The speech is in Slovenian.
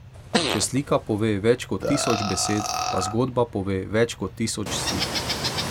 Če slika pove več kot tisoč besed, pa zgodba pove več kot tisoč slik.